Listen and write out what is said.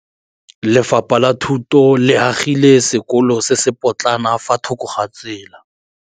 Lefapha la Thuto le agile sekôlô se se pôtlana fa thoko ga tsela.